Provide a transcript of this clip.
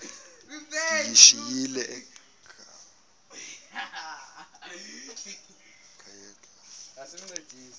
ndiyishiyile ekhaya koba